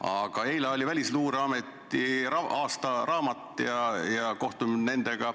Aga eile ilmus Välisluureameti aastaraamat ja oli kohtumine nendega.